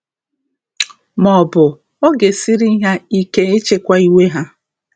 Maọbụ, ọ ga-esiri ha ike ịchịkwa iwe ha.